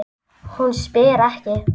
Hún spyr ekki.